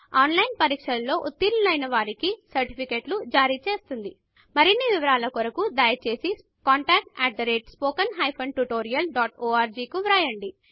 on line test లో ఉత్తీర్ణులు అయిన వారికి సర్టిఫికెట్లు జారిచేస్తుంది మరిన్ని వివరాల కొరకు దయచేసి contactspoken tutorialorg కు వ్రాయండి